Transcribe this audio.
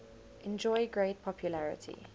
enjoy great popularity